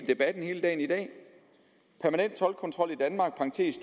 debatten hele dagen i dag permanent toldkontrol i danmark